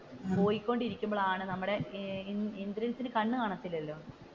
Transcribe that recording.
പോയി കൊണ്ടിരിക്കുമ്പോഴാണ് നമ്മുടെ ഇന്ദ്രൻസിന് കണ്ണു കാണാത്തില്ലല്ലോ,